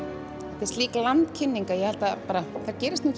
þetta er slík landkynning ég held að þær gerist ekki